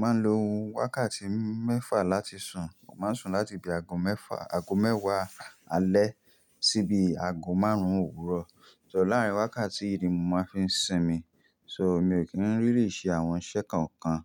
Máa lo wákàtí mẹ́fà láti sùn. Mo máa ń sùn láti bi aago mẹ́fà, aago mẹ́wàá alẹ́ sí bi aago márùn-ún òwúrọ̀. Tọ̀ láàárín wákàtí yìí ni mo máa fi ń sinmi. So, mi ò kí ń rí lì ṣe àwọn iṣẹ́ kan kan.